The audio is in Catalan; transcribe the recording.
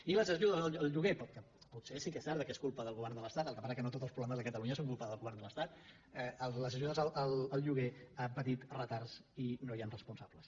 i les ajudes al lloguer que potser sí que és cert que és culpa del govern de l’estat el que passa que no tots els problemes de catalunya són culpa del govern de l’estat han patit retards i no hi han responsables